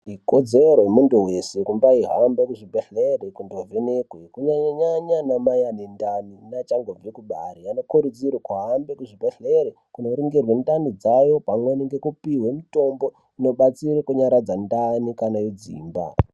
Ikodzero yemuntu wese kumbaihamba kuzvibhedhleya kundovhenekwa kunyanya nyanya anamai ane ndani neachangobve kubara, vanokurudzirwa kuhamba kuzvibhedhlere kunoringirwe ndani dzawo pamweni nekupihwe mutombo unonyaradza ndani kana yodzimba.